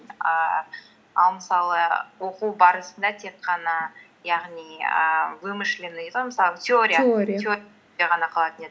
ііі ал мысалы оқу барысында тек қана яғни ііі вымышленный дейді ғой мысалы теория ғана қалатын еді